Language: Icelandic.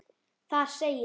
Þar segir